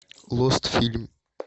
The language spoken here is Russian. лост фильм